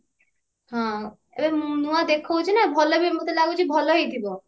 ହଁ ଏବେ ନୂଆ ଦେଖଉଛି ନା ଭଲ ବି ମତେ ଲାଗୁଛି ଭଲ ହେଇଥିବ